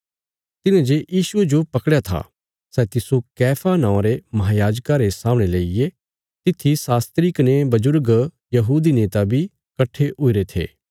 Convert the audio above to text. तिन्हे जे यीशुये जो पकड़या था सै तिस्सो कैफा नौआं रे महायाजका रे सामणे लेईगे तित्थी शास्त्री कने बजुर्ग यहूदी नेता बी कट्ठे हुईरे थे